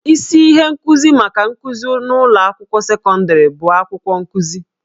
Isi ihe nkuzi maka nkuzi n'ụlọ akwụkwọ sekọndịrị bụ akwụkwọ nkuzi